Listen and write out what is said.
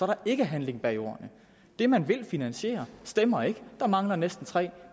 der ikke handling bag ordene det man vil finansiere stemmer ikke der mangler næsten tre